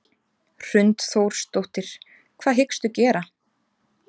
Hrund Þórsdóttir: Hvað hyggstu gera?